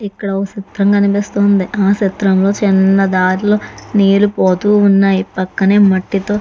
ఇక్కడ ఒక సిత్రం కనిపిస్తుంది ఆ సిత్రం లో చిన్న దరి లో నీరు పోతున్నాయి పక్కనే మట్టి తో --